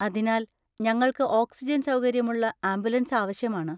അതിനാൽ, ഞങ്ങൾക്ക് ഓക്സിജൻ സൗകര്യമുള്ള ആംബുലൻസ് ആവശ്യമാണ്.